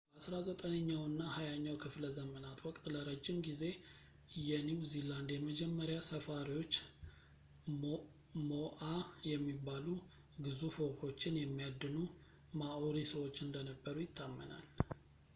በአስራ ዘጠነኛው እና ሃያኛው ክፍለ ዘመናት ወቅት ለረጅም ጊዜ የኒው ዚላንድ የመጀመሪያ ሰፋሪዎች ሞኣ የሚባሉ ግዙፍ ወፎችን የሚያድኑ ማኦሪ ሰዎች እንደነበሩ ይታመናል